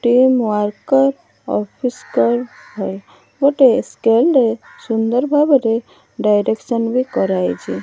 Team worker office ଗୋଟିଏ scale ରେ ସୁନ୍ଦର ଭାବରେ ଡିରେକ୍ସନ ବି କରାହେଇଛି।